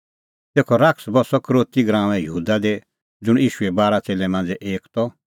तेखअ शैतान बस्सअ यहूदा इसकरोती दी ज़ुंण ईशूए बारा च़ेल्लै मांझ़ै एक त